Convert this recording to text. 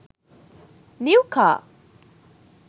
new car